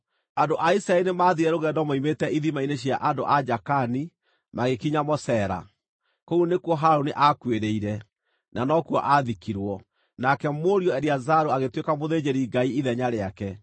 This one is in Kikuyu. (Andũ a Isiraeli nĩmathiire rũgendo moimĩte ithima-inĩ cia andũ a Jaakani, magĩkinya Mosera. Kũu nĩkuo Harũni aakuĩrĩire, na nokuo aathikirwo; nake mũriũ Eliazaru agĩtuĩka mũthĩnjĩri-Ngai ithenya rĩake.